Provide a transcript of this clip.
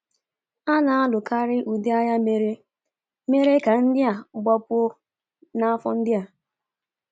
A na-alukarị ụdị agha mere mere ka ndị a gbapụ n’afọ ndị a.